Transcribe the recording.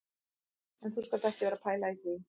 En þú skalt ekki vera að pæla í því